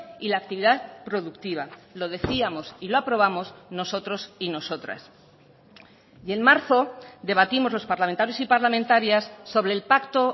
y la actividad productiva lo decíamos y lo aprobamos nosotros y nosotras y en marzo debatimos los parlamentarios y parlamentarias sobre el pacto